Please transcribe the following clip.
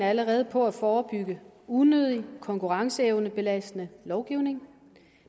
allerede på at forebygge unødig konkurrenceevnebelastende lovgivning